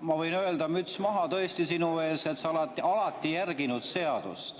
ma võin öelda, et müts maha tõesti sinu ees, sa oled alati järginud seadust.